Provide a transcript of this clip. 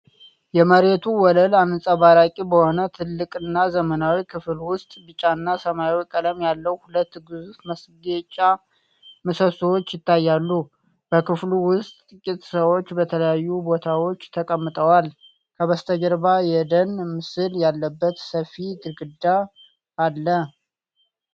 የመሬቱ ወለል አንጸባራቂ በሆነ ትልቅና ዘመናዊ ክፍል ውስጥ ቢጫና ሰማያዊ ቀለም ያለው ሁለት ግዙፍ ማስጌጫ ምሰሶዎች ይታያሉ። በክፍሉ ውስጥ ጥቂት ሰዎች በተለያዩ ቦታዎች ተቀምጠዋል፣ ከበስተጀርባውም የደን ምስል ያለበት ሰፊ ግድግዳ አለ።